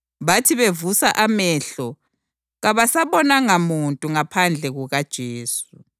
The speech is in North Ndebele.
Bathi bevusa amehlo kabasabonanga muntu ngaphandle kukaJesu.